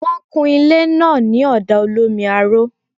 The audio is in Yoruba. Wọ́n kun ilé náà ní ọ̀dà olómi aró